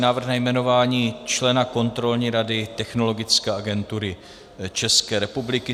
Návrh na jmenování člena Kontrolní rady Technologické agentury České republiky